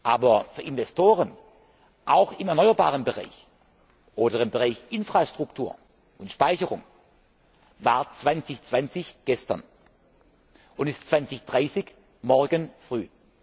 Aber für Investoren, auch im Erneuerbaren Bereich oder im Bereich Infrastruktur und Speicherung, war 2020 gestern und ist 2030 morgen früh.